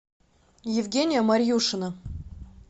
евгения марьюшина